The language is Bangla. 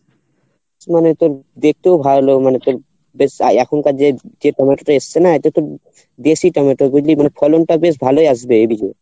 মনে কর দেখতেও ভালো মনে কর বেশ এখনকার যে যে টমেটো টা এসছে না তো তোর দেশী টমেটো বুঝলি মানে ফলন টা বেশ ভালো আসবে এ বীজে